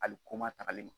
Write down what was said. Ali ko ma tagali